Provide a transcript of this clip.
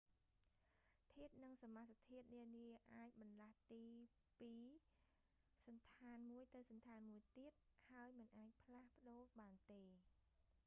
ធាតុ និងសមាសធាតុនានាអាចបម្លាស់ទីពីសណ្ឋានមួយទៅសណ្ឋានមួយទៀត ហើយមិនអាចផ្លាស់ប្តូរបានទេ